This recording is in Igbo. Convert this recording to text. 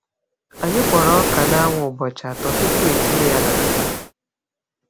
Anyị kpọrọ ọka n’anwụ ụbọchị atọ tupu etinye ya n’akpa.